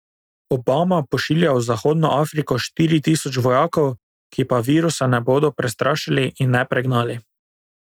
Obama pošilja v zahodno Afriko štiri tisoč vojakov, ki pa virusa ne bodo prestrašili in ne pregnali.